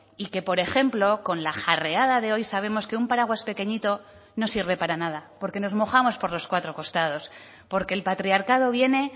y que por ejemplo con la jarreada de hoy sabemos que un paraguas pequeñito no sirve para nada porque nos mojamos por los cuatro costados porque el patriarcado viene